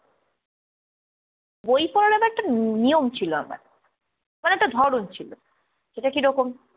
বই পড়ার আবার একটা নিয়ম ছিল আমার। মানে, একটা ধরন ছিল, সেটা কিরকম।